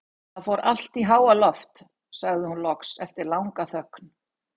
Það fór allt í háaloft, sagði hún loks eftir langa þögn.